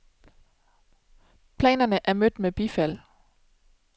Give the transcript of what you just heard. Planerne er mødt med bifald.